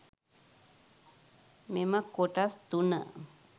මෙම කොටස් තුන